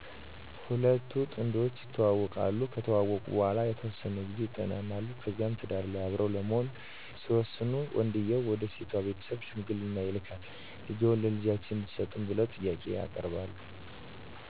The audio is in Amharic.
ሁለቱ ጥንዶች ይተዋወቃሉ ከተዋወቁ በኃላ የተወሠነ ጊዜ ይጠናናሉ ከዚያ ትዳር ላይ አብረው ለመሆን ሲወስኑ ወንድየው ወደ ሴቷ ቤተሠብ ሽምግልና ይላካል ልጅዎን ለልጃችን እንድትሠጡን ብለው ጥያቄ ያቀርባሉ።